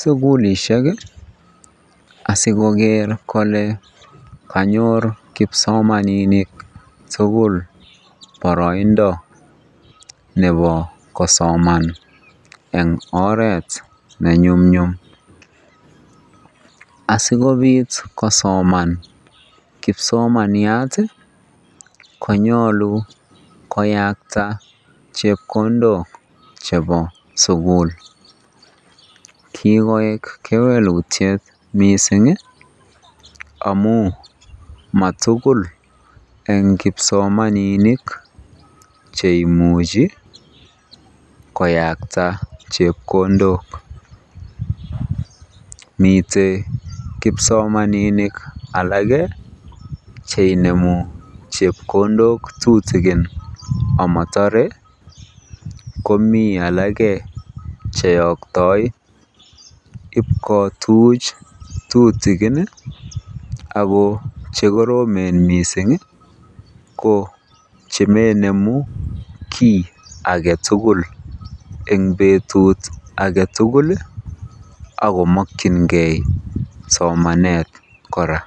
sukulishek asikoker kolee konyor kipsomaninik tukul boroindo nebo kosoman en oreet ne nyumnyum, asikobit kosoman kipsomaniat konyolu koyakta chepkondok chebo sukul, kikoik kewelutiet mising amun matukul eng kipsomaninik cheimuchi koyakta chepkondok, miten kipsomaninik alak cheinemu chepkondok tutukin amotore komii alak cheyoktoi iib kotuch tutukin ak ko vhekoromen mising ko chemoinemu kii aketukul eng betut aketukul ak komokyinge somanet kora.